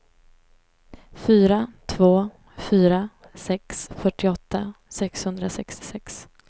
fyra två fyra sex fyrtioåtta sexhundrasextiosex